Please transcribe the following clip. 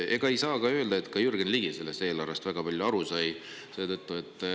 Ega ei saa öelda, et ka Jürgen Ligi sellest eelarvest väga palju aru sai.